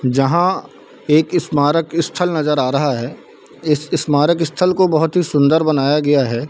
जहाँ एक स्मारक स्थल नजर आ रहा है इस स्मारक स्थल को बहुत ही सुंन्दर बनाया गया है।